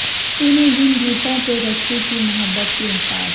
تونے جن گیتوں پہ رکھی تھی محبت کی اساس